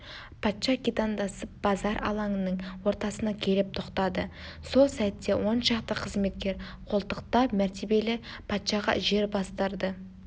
патша китандасы базар алаңының ортасына келіп тоқтады сол сәтте оншақты қызметкер қолтықтап мәртебелі патшаға жер бастырды